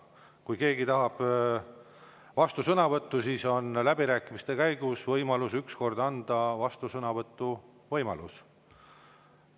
Kui keegi tahab vastusõnavõttu, siis läbirääkimiste käigus saab anda võimaluse ainult üheks vastusõnavõtuks.